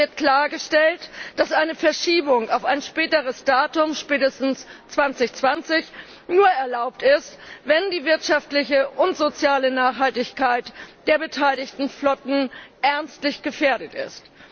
Es wird klargestellt, dass eine Verschiebung auf ein späteres Datum spätestens 2020 nur erlaubt ist, wenn die wirtschaftliche und soziale Nachhaltigkeit der beteiligten Flotten ernstlich gefährdet ist.